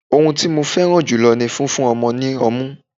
oun ti mo fẹràn ju ni fífún ọmọ ni ọmu